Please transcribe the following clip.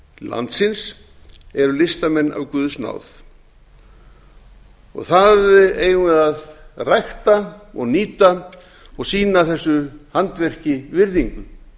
landsins eru listamenn af guðs náð það eigum við að rækta og nýta og sýna þessu handverki virðingu